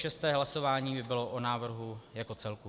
Šesté hlasování by bylo o návrhu jako celku.